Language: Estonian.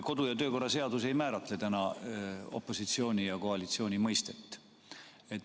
Kodu- ja töökorra seadus ei määratle opositsiooni ja koalitsiooni mõistet.